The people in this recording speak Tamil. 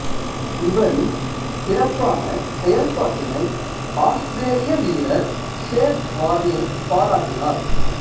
இவரின் சிறப்பான செயல்பாட்டினை ஆத்திரேலிய வீரர் ஷேன் வார்னே பாராட்டினார்